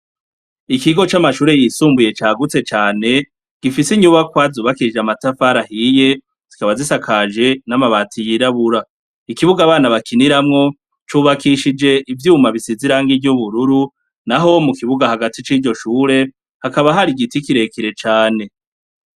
Ikigo c'amashure yisumbuye cagutse cane, gifise inyubakwa zubakije amatafari ahiye zikaba zisakaje n'amabati yirabura. Ikibuga abana bakiniramwo cubakishije ivyuma bisize irangi ry' ubururu, naho mu kibuga hagati c'iryo shure hakaba hari igiti kirekire cane.